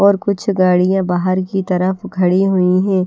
और कुछ गाड़ियां बाहर की तरफ खड़ी हुई हैं।